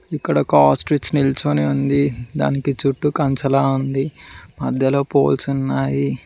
ఇక్కడ ఒక ఆస్ట్రిచ్ నిల్చని ఉంది దానికి చుట్టూ కంచలా ఉంది మధ్యలో పోల్స్ ఉన్నాయి.